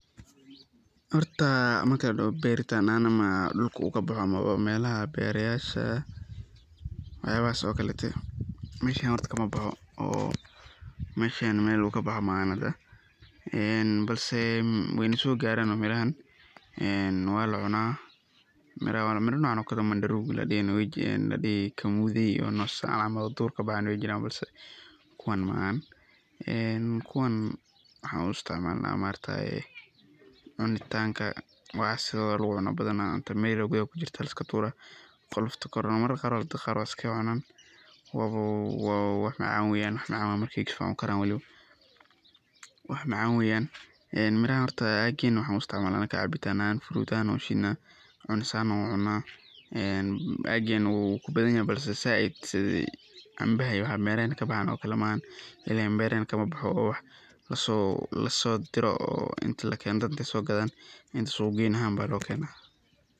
Horta bertan meelaha beerayasha camal markaan tago meesheyna kama baxo, meesheyna meel uu kaboxo maaha hada, balse waay nasoo gaarana mirahan waana lacunaa, mira noocan oo ladihi kamude oo sidan camal oo duurka kabaxaan weey jiraan balse kuwan maahan, kuwaan waxaan u isticmaalna anaga cunitaanka, sidooda ayaa lagu cunaa badanaa inti mir yar oo kujirto liska turo, qolofta Kore marmar qaar dadka waay is kaaga cunaan, wax macaan weeyan markaay saan ukaraan weliba, mirahan anaga waxaan u isticmaalna cabitaan ahaan fruud ahaan ayaan ushiidna, cunis ahaan waan ucunaa, aageyna wuu ku badan yahay lakin sait sida canbaha iyo waxa meelaheyna kabaxaan camal maahan, ileen beeraheyna kama boxo oo wax lasoo dire oo dad inaay soo gadeen inta suuq geyn ahaan ayaa loo keenayaa.